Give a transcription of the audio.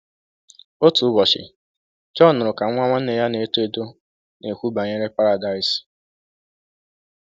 Otu ụbọchị, John nụrụ ka nwa nwanne ya na-eto eto na-ekwu banyere Paradaịs.